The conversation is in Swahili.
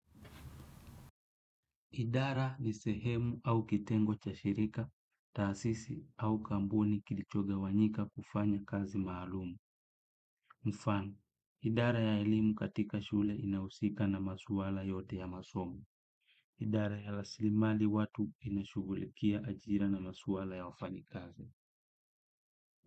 Idara ni sehemu au kitengo cha shirika taasisi au kampuni kilichogawanyika kufanya kazi maalum. Mfano, idara ya elimu katika shule inayohusika na maswala yote ya masomo. Idara ya rasilimali watu inashugulikia ajira na maswala ya wafanyikazi.